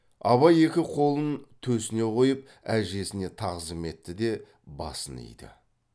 абай екі қолын төсіне қойып әжесіне тағзым етті де басын иді